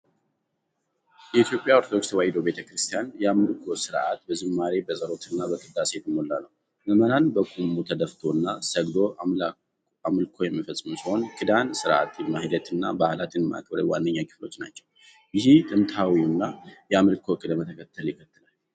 የኢትዮጵያ ኦርቶዶክስ ተዋሕዶ ቤተ ክርስቲያን የአምልኮ ሥርዓት በዝማሬ፣ በጸሎትና በቅዳሴ የተሞላ ነው። ምዕመናን በቁሞ፣ ተደፍቶና ሰግዶ አምልኮ የሚፈጽሙ ሲሆን፣ ኪዳን፣ ሥርዓተ ማኅሌትና በዓላትን ማክበር ዋነኛ ክፍሎቹ ናቸው። ይህም ጥንታዊውን የአምልኮ ቅደም ተከተል ይከተላል።